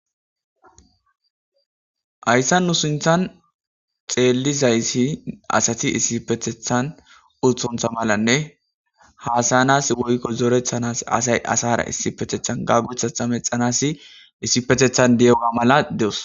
Haysan nu sinthan xelizaysi asati issioetethn utonta malanne hasayans woyko zoretanas asay asara issipetethan gamotetha mecanaws issiptetha diyoga malatos